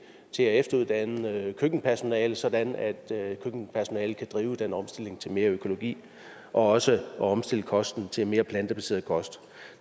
efteruddanne køkkenpersonale sådan at køkkenpersonalet kan drive den omstilling til mere økologi og også omstille kosten til mere plantebaseret kost